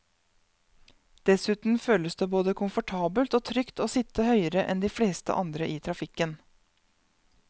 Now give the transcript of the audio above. Dessuten føles det både komfortabelt og trygt å sitte høyere enn de fleste andre i trafikken.